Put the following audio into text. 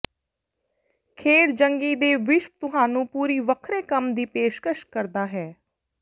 ਖੇਡ ਜੰਗੀ ਦੇ ਵਿਸ਼ਵ ਤੁਹਾਨੂੰ ਪੂਰੀ ਵੱਖਰੇ ਕੰਮ ਦੀ ਪੇਸ਼ਕਸ਼ ਕਰਦਾ ਹੈ